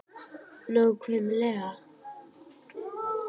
Fréttamaður: Nákvæmlega?